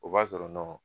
O b'a sɔrɔ nɔ